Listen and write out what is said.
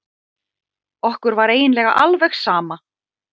Okkur var eiginlega alveg sama.